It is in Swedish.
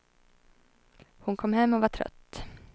Hon kom hem och var trött.